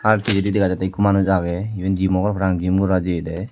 ar pijedi degajatte ekko manuj aage eben gym mo gor parapang gym gora jaye de.